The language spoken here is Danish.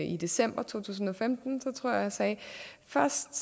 i december to tusind og femten at jeg sagde at først